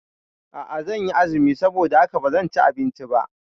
A'a, zanyi azumi saboda haka bazan ci abinci ba